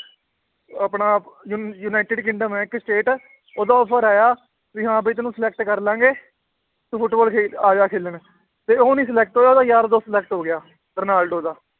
ਆਪਣਾ ਯੁਨ~ United Kingdom ਹੈ ਇੱਕ state ਉਹਦਾ offer ਆਇਆ ਵੀ ਹਾਂ ਵੀ ਤੈਨੂੰ select ਕਰ ਲਵਾਂਗੇ, ਤੂੰ ਫੁਟਬਾਲ ਖੇ~ ਆ ਜਾ ਖੇਲਣ ਤੇ ਉਹ ਨੀ select ਹੋਇਆ ਉਹਦਾ ਯਾਰ ਦੋਸਤ select ਹੋ ਗਿਆ ਰੋਨਾਲਡੋ ਦਾ